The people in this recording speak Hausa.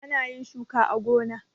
Ana yin shuka a gona.